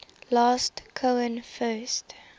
last cohen first